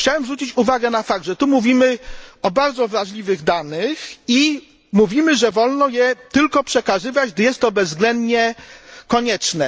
Otóż chciałbym zwrócić uwagę na fakt, że mówimy tu o bardzo wrażliwych danych i mówimy, że wolno je tylko przekazywać, gdy jest to bezwzględnie konieczne.